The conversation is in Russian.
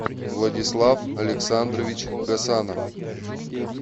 владислав александрович гасанов